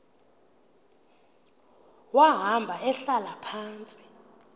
wahamba ehlala phantsi